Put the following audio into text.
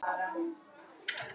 Eyðir hann miklu við það?